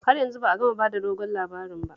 Har yanzu ba a gama ba da dogon labarin ba